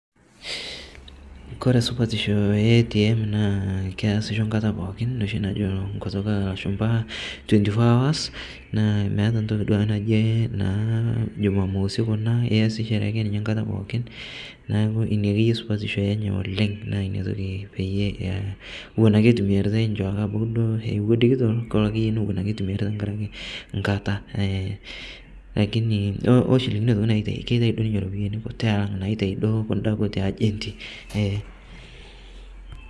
Kore esupatisho e ATM naa keasisho enkata pookinisho najo tenkutuk oolashumba twenty four hours meeta ninye duake ntoki naji juma mosi kuna iyasishore ake ninye enkata pooki niaku ina akeyie supatisho enye oleng. Naa ina toki peyie ore iwuakekeduo eewu dikitol kelo akeyie nimikitum nkata aaa lakini kaitai naajo ninye iropiyiani kuti alang kun naaji naitayu agenti